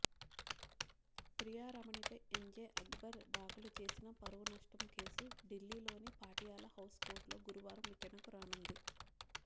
ప్రియారమణిపై ఎంజే అక్బర్ దాఖలు చేసిన పరువునష్టం కేసు ఢిల్లీలోని పాటియాలా హౌస్ కోర్టులో గురువారం విచారణకు రానుంది